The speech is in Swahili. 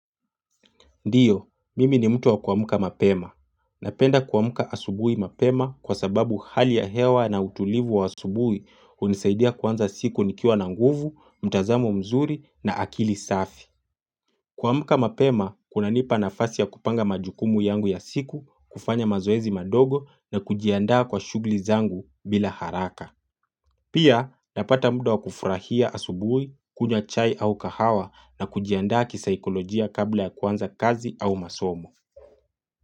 Ndiyo, mimi ni mtu wa kuamuka mapema. Napenda kuamuka asubui mapema kwa sababu hali ya hewa na utulivu wa asubui hunisaidia kuanza siku nikiwa na nguvu, mtazamo mzuri na akili safi. Kuamuka mapema, kunanipa nafasi ya kupanga majukumu yangu ya siku, kufanya mazoezi madogo na kujiandaa kwa shugli zangu bila haraka. Pia napata muda wa kufurahia asubui, kunywa chai au kahawa na kujiandaa kisaikolojia kabla ya kuanza kazi au masomo.